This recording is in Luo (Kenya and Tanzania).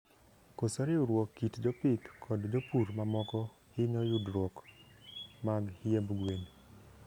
Koso riwruok kit jopith kod jopur mamoko hinyo yudruok mag hiemb gwen